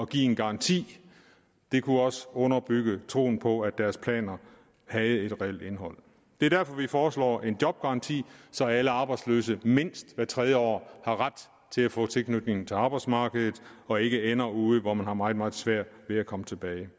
give en garanti det kunne også underbygge troen på at deres planer havde et reelt indhold det er derfor vi foreslår en jobgaranti så alle arbejdsløse mindst hvert tredje år har ret til at få tilknytning til arbejdsmarkedet og ikke ender ude hvor man har meget meget svært ved at komme tilbage